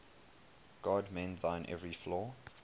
god mend thine every flaw